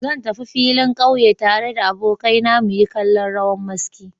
Zan tafi filin ƙauye tare da abokaina muyi kallon rawan maski.